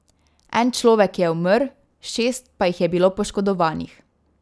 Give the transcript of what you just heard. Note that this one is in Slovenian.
En človek je umrl, šest pa jih je bilo poškodovanih.